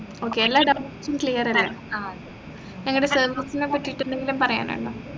okay എല്ലാ doubts ഉം clear അല്ലെ ഞങ്ങടെ service നേപ്പറ്റിട്ട് എന്തെങ്കിലും പറയാനുണ്ടോ